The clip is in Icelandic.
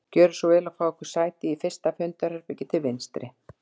Gjörið svo vel að fá ykkur sæti í fyrsta fundarherbergi til vinstri